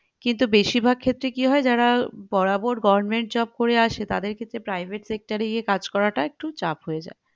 কিন্তু বেশিরভাগ ক্ষেত্রে কি হয় যারা বরাবর government job করে আসে তাদের ক্ষেত্রে private sector এ গিয়ে কাজ করাটা একটু চাপ হয়ে যায়